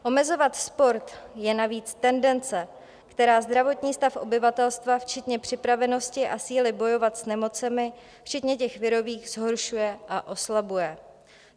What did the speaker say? Omezovat sport je navíc tendence, která zdravotní stav obyvatelstva včetně připravenosti a síly bojovat s nemocemi včetně těch virových zhoršuje a oslabuje.